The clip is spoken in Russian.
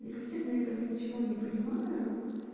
если честно этом ничего не понимаю